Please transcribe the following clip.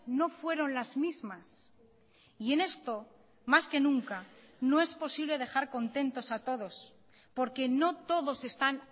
no fueron las mismas y en esto más que nunca no es posible dejar contentos a todos porque no todos están